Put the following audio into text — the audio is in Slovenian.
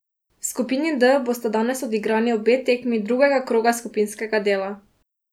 V skupini D bosta danes odigrani obe tekmi drugega kroga skupinskega dela.